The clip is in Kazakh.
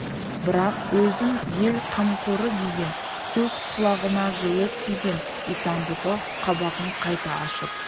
бірақ өзін ел қамқорыдеген сөз құлағына жылы тиген исан-бұғы қабағын қайта ашып